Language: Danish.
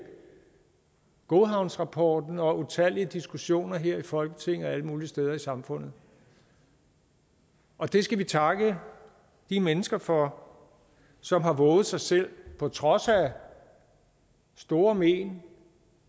godhavnsrapporten og utallige diskussioner her i folketinget og alle mulige steder i samfundet og det skal vi takke de mennesker for som har vovet sig selv på trods af store men